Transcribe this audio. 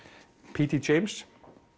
p d